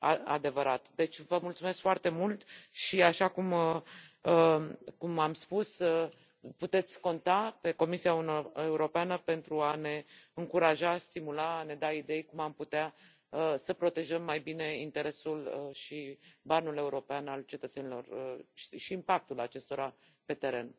adevărat. Deci, vă mulțumesc foarte mult și, așa cum am spus, puteți conta pe Comisia Europeană pentru a ne încuraja, a ne stimula, a ne da idei despre cum am putea să protejăm mai bine interesul și banul european al cetățenilor și impactul acestora pe teren.